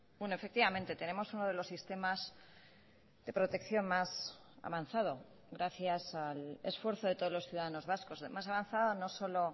bueno efectivamente tenemos uno de los sistemas de protección más avanzado gracias al esfuerzo de todos los ciudadanos vascos más avanzada no solo